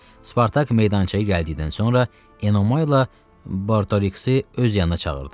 Spartak meydançaya gəldikdən sonra Enomayla Bortoriksi öz yanına çağırdı.